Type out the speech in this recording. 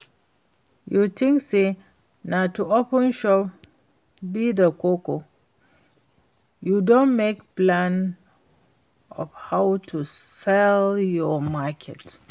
You think say na to open shop be the koko? You don make plan of how to sell your market?